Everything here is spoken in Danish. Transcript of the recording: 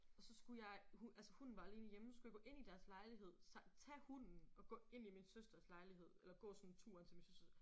Og så skulle jeg altså hunden var alene hjemme så skulle jeg gå ind i deres lejlighed tage hunden og gå ind i min søsters lejlighed eller gå sådan turen til min søster